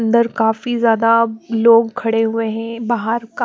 अन्दर काफी ज़्यादा लोग खड़े हुए हैं बाहर का--